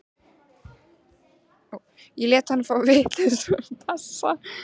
Ég lét hann fá vitlausan passa.